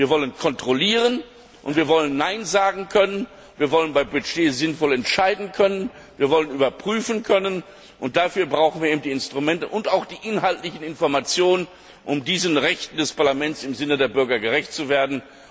Wir wollen kontrollieren, und wir wollen Nein sagen können. Wir wollen bei Budgets sinnvoll entscheiden können, wir wollen überprüfen können, und dafür brauchen wir die Instrumente und auch die inhaltlichen Informationen, um diesen Rechten des Parlaments im Sinne der Bürger gerecht zu werden.